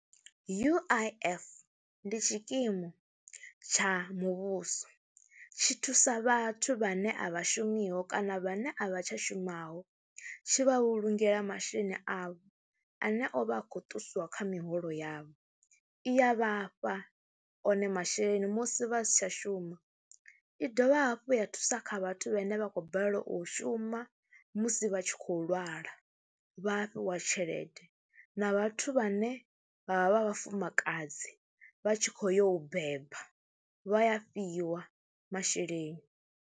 U_I_F ndi tshikimu tsha muvhuso, tshi thusa vhathu vhane a vha shumiho kana vhane a vha tsha shumaho, tshi vha vhulungela masheleni avho ane o vha a khou ṱusiwa kha miholo yavho. Iya vha fha one masheleni musi vha si tsha shuma, i dovha hafhu ya thusa kha vhathu vhane vha khou balelwa u shuma musi vha tshi khou lwala vha fhiwa tshelede na vhathu vhane vha vha vha vhafumakadzi vha tshi khou yo u beba vha ya fhiwa masheleni.